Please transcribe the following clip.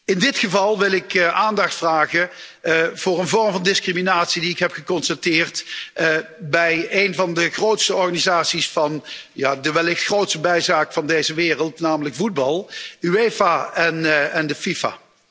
In dit geval wil ik aandacht vragen voor een vorm van discriminatie die ik heb geconstateerd bij een van de grootste organisaties van de wellicht grootste bijzaak van deze wereld, namelijk voetbal, de UEFA en de FIFA.